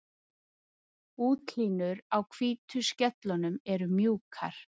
Útlínur á hvítu skellunum eru mjúkar.